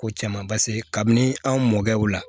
Ko caman paseke kabini an mɔkɛ u la